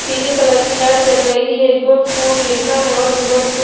पीले कलर की लैट जल रही है गुड फूड लिखा है और भी बहोत कु --